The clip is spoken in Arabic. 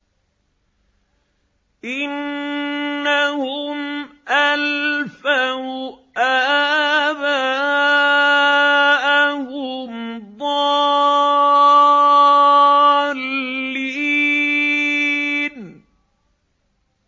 إِنَّهُمْ أَلْفَوْا آبَاءَهُمْ ضَالِّينَ